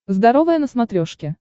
здоровое на смотрешке